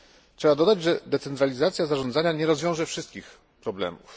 Trzeba dodać, że decentralizacja zarządzania nie rozwiąże wszystkich problemów.